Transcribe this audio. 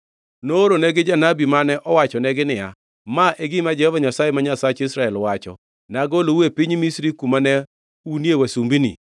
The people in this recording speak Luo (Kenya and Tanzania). nooronegi janabi, mane owachonegi niya, “Ma e gima Jehova Nyasaye ma Nyasach Israel, wacho: Nagolou e piny Misri, kuma ne unie wasumbini.